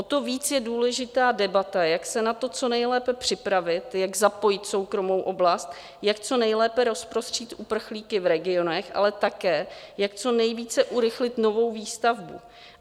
O to víc je důležitá debata, jak se na to co nejlépe připravit, jak zapojit soukromou oblast, jak co nejlépe rozprostřít uprchlíky v regionech, ale také jak co nejvíce urychlit novou výstavbu.